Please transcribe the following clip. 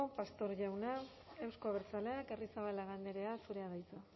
pastor jauna euzko abertzaleak arrizabalaga andrea zurea da hitza